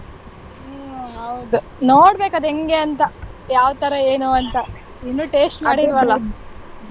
ಹ್ಮ್ ಹೌದು ನೋಡಬೇಕು ಅದ್ ಹೆಂಗೆ ಅಂತ ಯಾವ್ತರ ಏನು ಅಂತ ಇನ್ನೂ taste .